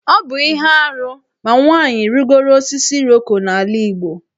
Ọ bụ ihe arụ ma nwaanyị rịgoro osisi Iroko n'ala Igbo.